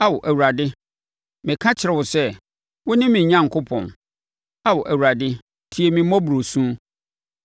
Ao Awurade, meka kyerɛ wo sɛ, “Wone me Onyankopɔn.” Ao Awurade, tie me mmɔborɔ su.